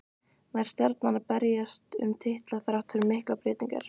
Nær Stjarnan að berjast um titla þrátt fyrir miklar breytingar?